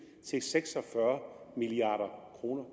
til seks og fyrre milliard kroner